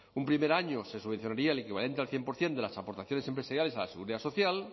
un primer año se subvencionaría el equivalente al cien por ciento de las aportaciones empresariales a la seguridad social